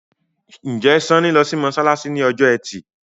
Njé Sanni ló sì masalasi ní Ọjọ́ Ẹti?